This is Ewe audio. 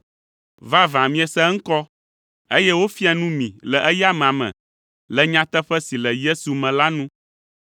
Vavã miese eŋkɔ, eye wofia nu mi le eya amea me, le nyateƒe si le Yesu me la nu.